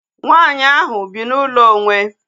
Nwaanyị ahu bi na ụlọ onwe